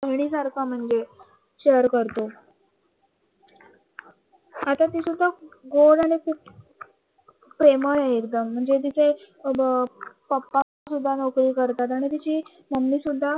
बहिणी सारखं म्हणजे शेअर करत खूप प्रेमळ आहे एकदम म्हणजे तिचे पप्पा शुदा नोकरी करतात आणि तिची मम्मी सुद्धा